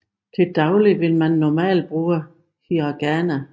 Til daglig vil man normalt bruge hiragana